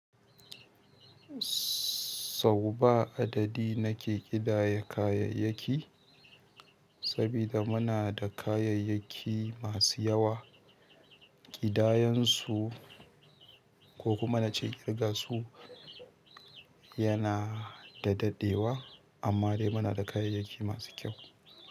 Sau ba adadi na ke ƙidaya kayayyaki, sabida munada kayayyaki masu yawa kidayansu ko kuma na ce ƙirga su yana da daɗewa amma dai muna da kayayyaki masu kyau.